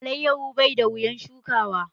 Alayyaho bai da wuyan shukawa